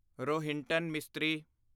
Rohinton mystery